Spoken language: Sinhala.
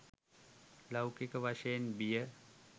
ලෞකික වශයෙන් බිය